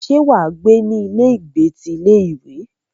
Ṣé wà á gbé ní ilé ìgbé ti ilé ìwé?